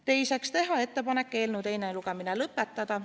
Teiseks, teha ettepanek eelnõu teine lugemine lõpetada.